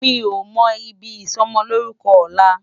Mi ó mò ibi isòmòlórúkò òlá